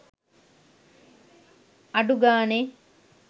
අඩු ගාණෙ